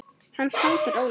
Hann taldi rólega